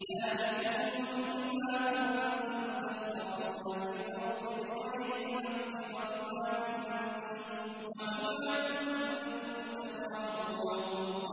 ذَٰلِكُم بِمَا كُنتُمْ تَفْرَحُونَ فِي الْأَرْضِ بِغَيْرِ الْحَقِّ وَبِمَا كُنتُمْ تَمْرَحُونَ